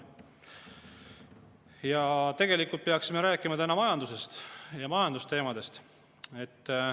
Ja tegelikult peaksime rääkima täna majandusest ja majandusteemadest.